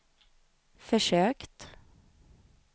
försökt